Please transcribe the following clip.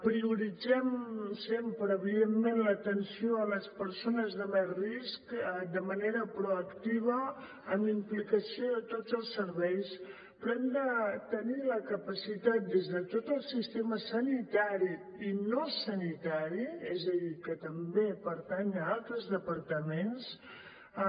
prioritzem sempre evidentment l’atenció a les persones de més risc de manera proactiva amb implicació de tots els serveis però hem de tenir la capacitat des de tot el sistema sanitari i no sanitari és a dir que també pertany a altres departaments